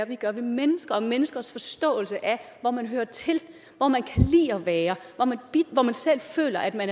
vi gør ved mennesker og menneskers forståelse af hvor man hører til hvor man kan lide at være hvor man selv føler at man